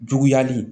Juguyali